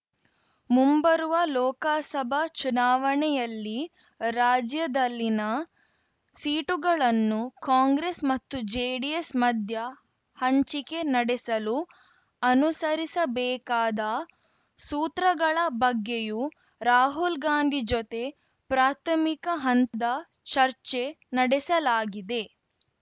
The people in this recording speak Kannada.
ಮುಂಬರುವ ಲೋಕಸಭಾ ಚುನಾವಣೆಯಲ್ಲಿ ರಾಜ್ಯದಲ್ಲಿನ ಸೀಟುಗಳನ್ನು ಕಾಂಗ್ರೆಸ್‌ ಮತ್ತು ಜೆಡಿಎಸ್‌ ಮಧ್ಯ ಹಂಚಿಕೆ ನಡೆಸಲು ಅನುಸರಿಸಬೇಕಾದ ಸೂತ್ರಗಳ ಬಗ್ಗೆಯೂ ರಾಹುಲ್‌ ಗಾಂಧಿ ಜೊತೆ ಪ್ರಾಥಮಿಕ ಹಂತದ ಚರ್ಚೆ ನಡೆಸಲಾಗಿದೆ